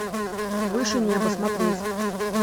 выше неба смотреть